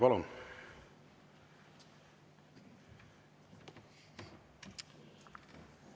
Palun!